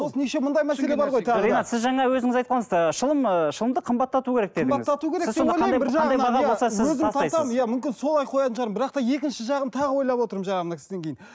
ринат сіз жаңа өзіңіз айттыңыз шылым шылымды қымбаттату керек дедіңіз мүмкін солай қоятын шығармын бірақ та екінші жағын тағы ойлап отырмын жаңа мына кісіден кейін